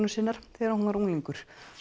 sinnar þegar hún var unglingur